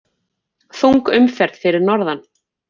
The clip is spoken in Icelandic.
Þung umferð fyrir norðan